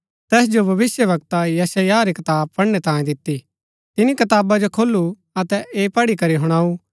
तैस जो भविष्‍यवक्ता यशायाह री कताब पढ़नै तांई दिती तिनी कताबा जो खोलू अतै ऐह पढ़ी करी हुणाऊ कि